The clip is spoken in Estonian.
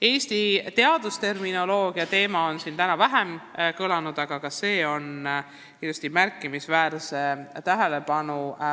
Eesti teadusterminoloogia teema on täna vähem kõlanud, aga ka see vajab kindlasti tähelepanu.